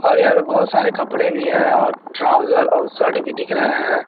और यहां पर बहोत सारे कपड़े भी है और ट्राउजर और शर्ट भी दिख रहे है।